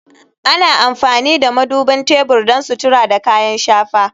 Ana amfani da madubin tebur don sutura da kayan shafa